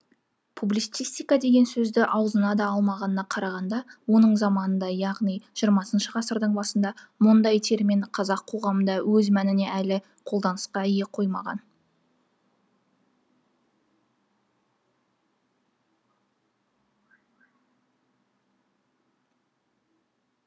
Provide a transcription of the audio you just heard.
публицистика деген сөзді аузына да алмағанына қарағанда оның заманында яғни жиырмасыншы ғасырдың басында мұндай термин қазақ қоғамында өз мәнінде әлі қолданысқа ене қоймаған